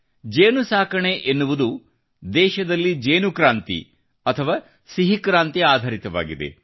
ಜೇನುನೊಣ ಸಾಕಾಣಿಕೆ ಎನ್ನುವುದು ದೇಶದಲ್ಲಿ ಜೇನುಕ್ರಾಂತಿ ಅಥವಾ ಸಿಹಿ ಕ್ರಾಂತಿ ಆಧರಿತವಾಗಿದೆ